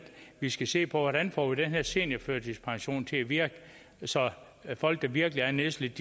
vi skal se på hvordan vi får den her seniorførtidspension til at virke så folk der virkelig er nedslidte